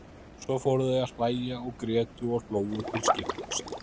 Svo fóru þau að hlæja og grétu og hlógu til skiptis.